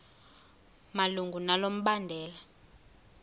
malunga nalo mbandela